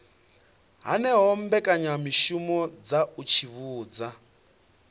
hanaho mbekanyamishumo dza u tsivhudza